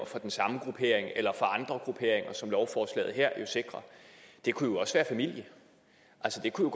fra den samme gruppering eller fra andre grupperinger som lovforslaget her jo sikrer det kunne også være familie altså det kunne